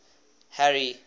harry